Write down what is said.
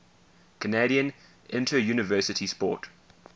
canadian interuniversity sport